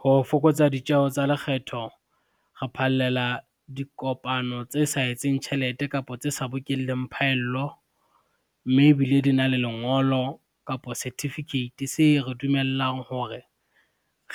Ho fokotsa ditjeho tsa lekgetho, re phallela dikopano tse sa etseng tjhelete kapo tse sa bokelleng phaello, mme ebile di na le lengolo kapa certificate se re dumellang hore